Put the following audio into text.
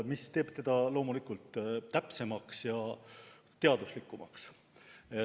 See teeb strateegia loomulikult täpsemaks ja teaduslikumaks.